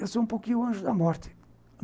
Eu sou um pouco o anjo da morte.